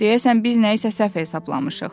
Deyəsən biz nəyisə səhv hesablamışıq.